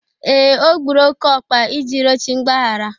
Ee, o gburu oke ọkpa iji rịọ chi mgbaghara.